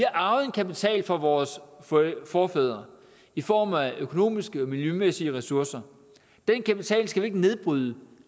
arvet en kapital fra vores forfædre i form af økonomiske og miljømæssige ressourcer den kapital skal vi ikke nedbryde